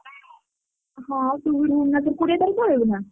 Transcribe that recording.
ହଁ ତୁ ବି କୋଡିଏ ତାରିଖ ପଳେଇବୁନା।